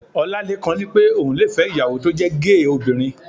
Ọlálékan ní pé òun le fẹ́ ìyàwó tó jẹ́ géè obìnrin